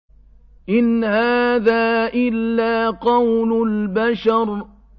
إِنْ هَٰذَا إِلَّا قَوْلُ الْبَشَرِ